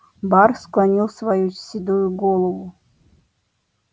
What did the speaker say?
бар склонил свою седую голову